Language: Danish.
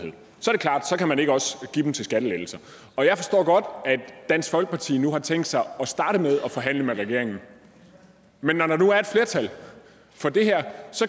tak at man ikke også kan give dem til skattelettelser jeg forstår godt at dansk folkeparti nu har tænkt sig at starte med at forhandle med regeringen men når der nu er et flertal for det her